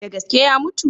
Da gaske ya mutu?